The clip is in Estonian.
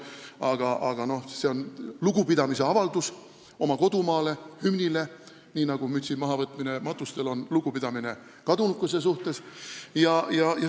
Mütsi mahavõtmine on lugupidamise avaldus oma kodumaa ja hümni vastu, nii nagu on mütsi mahavõtmine matustel lugupidamise avaldus kadunukese vastu.